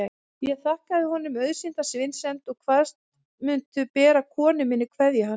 Ég þakkaði honum auðsýnda vinsemd og kvaðst mundu bera konu minni kveðju hans.